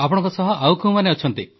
ଆପଣଙ୍କ ସହ ଆଉ କେଉଁମାନେ ଅଛନ୍ତି